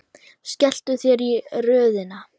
Skelltu þér í röðina.